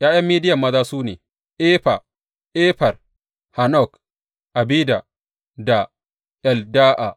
’Ya’yan Midiyan maza su ne, Efa, Efer, Hanok, Abida da Elda’a.